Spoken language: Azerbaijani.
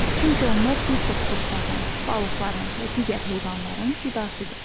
Çünki onlar bir çox quşların, balıqların və digər heyvanların qidasıdır.